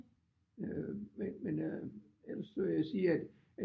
Øh men men øh så jeg vil sige at